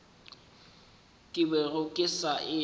ke bego ke sa e